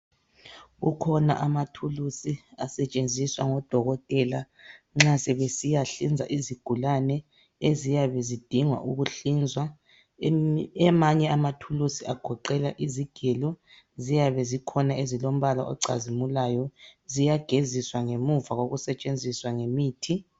Kukhona amathulusi asetshenziswa ngudokotela nxa sebesiyahlinza izigulane eziyabe zidinga ukuhlinzwa. Amanye amathuluzi agoqela izigelo, ziyane zikhona ezilombala ocazimulayo ziyageziswa ngemuva kokusetshenziswa ngemithi.